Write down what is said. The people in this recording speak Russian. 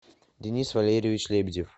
денис валерьевич лебедев